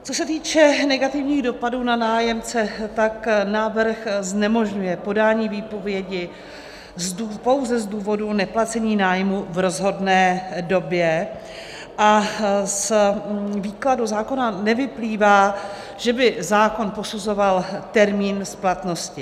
Co se týče negativních dopadů na nájemce, tak návrh znemožňuje podání výpovědi pouze z důvodu neplacení nájmu v rozhodné době a z výkladu zákona nevyplývá, že by zákon posuzoval termín splatnosti.